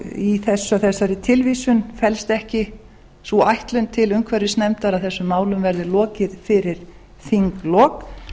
í þessari tilvísun felst ekki sú ætlun til umhverfisnefndar að þessum málum verði lokið fyrir þinglok